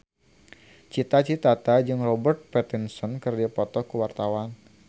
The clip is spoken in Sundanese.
Cita Citata jeung Robert Pattinson keur dipoto ku wartawan